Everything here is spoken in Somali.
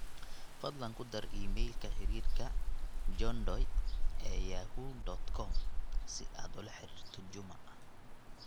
fadlan ku dar iimaylka xiriirka johndoe ee yahoo dot com si aad ula xiriirto juma